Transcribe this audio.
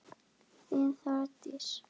Þín Þórdís.